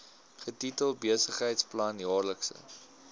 getitel besigheidsplan jaarlikse